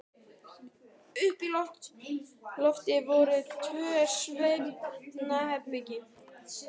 Uppi á lofti voru tvö svefnherbergi.